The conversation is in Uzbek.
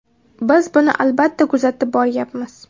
Biz buni albatta kuzatib borayapmiz.